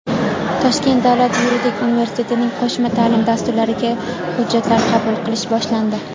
Toshkent davlat yuridik universitetining qo‘shma ta’lim dasturlariga hujjatlar qabul qilish boshlandi.